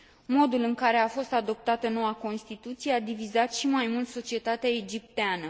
Modul în care a fost adoptată noua constituție a divizat și mai mult societatea egipteană.